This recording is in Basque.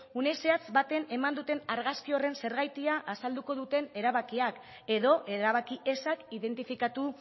une zehatz batean eman duten argazki horren zergatia azalduko duten erabakiak edo erabaki ezak identifikatu